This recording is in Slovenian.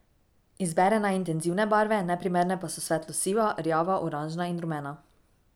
Izbere naj intenzivne barve, neprimerne pa so svetlo siva, rjava, oranžna in rumena.